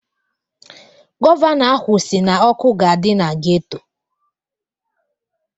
Gọvanọ ahụ si na ọkụ ga-adị na geto.